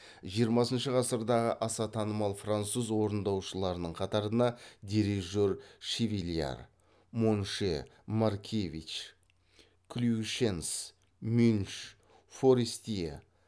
жиырмасыншы ғасырдағы аса танымал француз орындаушыларының қатарына дирижер шевильяр монше маркевич клюишенс мюнш форестье